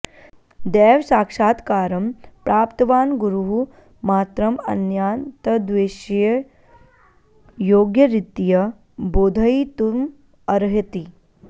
दैवसाक्षात्कारं प्राप्तवान् गुरुः मात्रम् अन्यान् तद्विषये योग्यरीत्या बोधयितुम् अर्हति